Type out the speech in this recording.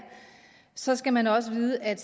så skal man også vide at